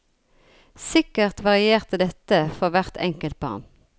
Sikkert varierte dette for hvert enkelt barn.